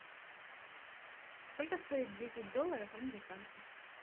сколько стоит десять долларов американских